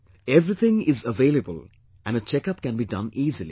Everything is available and a checkup can be done easily